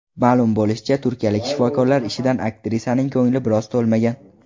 Ma’lum bo‘lishicha, turkiyalik shifokorlar ishidan aktrisaning ko‘ngli biroz to‘lmagan.